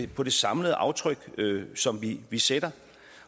på det samlede aftryk som vi vi sætter